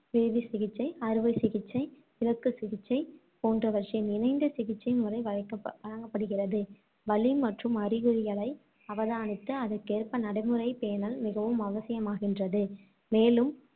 வேதிச்சிகிச்சை, அறுவைச் சிகிச்சை, இலக்குச் சிகிச்சை போன்றவற்றின் இணைந்த சிகிச்சை முறை வழக்க~ வழங்கப்படுகின்றது. வலி மற்றும் அறிகுறிகளை அவதானித்து, அதற்கேற்ப நடைமுறைப் பேணல் மிகவும் அவசியமாகின்றது. மேலும்